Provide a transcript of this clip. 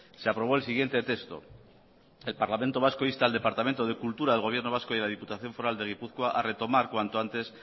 se aprobó el siguiente texto el parlamento vasco insta al departamento de cultura del gobierno vasco y de la diputación foral de gipuzkoa a retomar cuanto antes